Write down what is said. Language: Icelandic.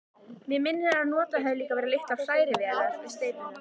Mig minnir, að notaðar hafi verið litlar hrærivélar við steypuna.